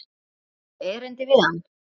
Áttu erindi við hann?